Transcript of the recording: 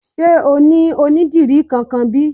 Sé o ní onídìrí kankan bí?